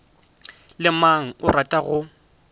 le mang o rata go